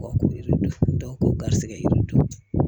Ko garisigɛ yiridenw